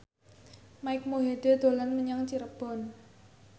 Mike Mohede dolan menyang Cirebon